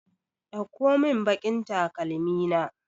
Ɗauko mun baƙin takalmi na!